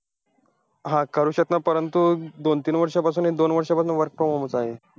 हा करू शकता, परंतु दोन तीन वर्षांपासून एक, दोन वर्षांपासून work from home चं आहे.